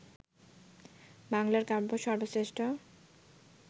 বাংলার কাব্য সর্বশ্রেষ্ঠ